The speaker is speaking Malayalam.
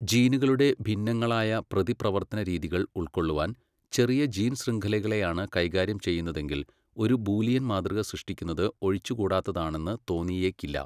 ജീനുകളുടെ ഭിന്നങ്ങളായ പ്രതിപ്രവർത്തനരീതികൾ ഉൾക്കൊള്ളുവാൻ, ചെറിയ ജീൻ ശൃംഖലകളെയാണ് കൈകാര്യം ചെയ്യുന്നതെങ്കിൽ, ഒരു ബൂലിയൻ മാതൃക സൃഷ്ടിക്കുന്നത് ഒഴിച്ചുകൂടാത്തതാണെന്ന് തോന്നിയേക്കില്ല.